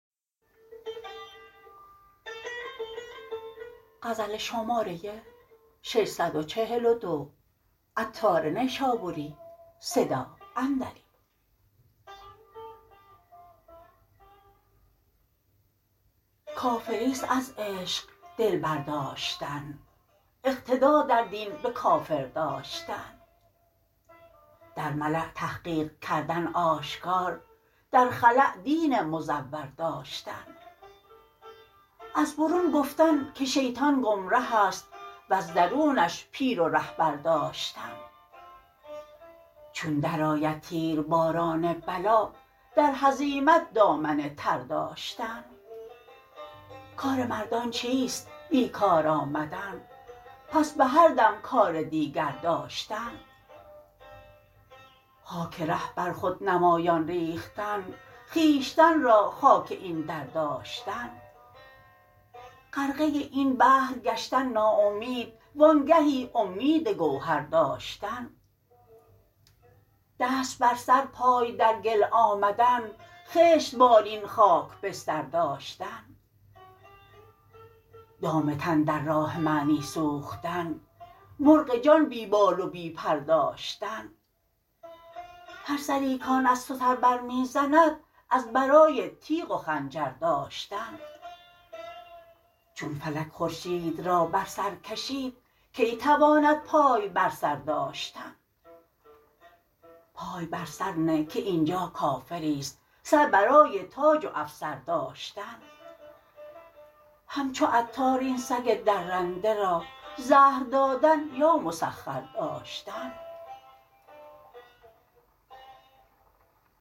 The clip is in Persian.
کافری است از عشق دل برداشتن اقتدا در دین به کافر داشتن در ملا تحقیق کردن آشکار در خلا دین مزور داشتن از برون گفتن که شیطان گمره است وز درونش پیر و رهبر داشتن چون درآید تیرباران بلا در هزیمت دامن تر داشتن کار مردان چیست بیکار آمدن پس به هر دم کار دیگر داشتن خاک ره بر خود نمایان ریختن خویشتن را خاک این در داشتن غرقه این بحر گشتن ناامید وانگهی امید گوهر داشتن دست بر سر پای در گل آمدن خشت بالین خاک بستر داشتن دام تن در راه معنی سوختن مرغ جان بی بال و بی پر داشتن هر سری کان از تو سر برمی زند از برای تیغ و خنجر داشتن چون فلک خورشید را بر سر کشید کی تواند پای بر سر داشتن پای بر سر نه که اینجا کافری است سر برای تاج و افسر داشتن همچو عطار این سگ درنده را زهر دادن یا مسخر داشتن